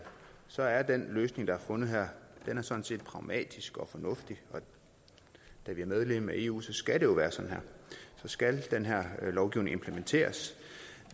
så er den løsning der er fundet her sådan set pragmatisk og fornuftig da vi er medlem af eu så skal det jo være sådan her så skal den her lovgivning implementeres